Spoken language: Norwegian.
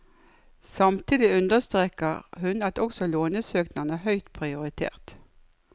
Samtidig understreker hun at også lånesøknadene er høyt prioritert.